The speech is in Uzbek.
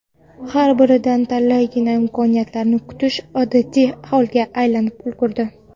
Har biridan talaygina imkoniyatlarni kutish odatiy holga aylanib ulgurdi.